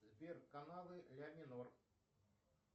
сбер каналы ля минор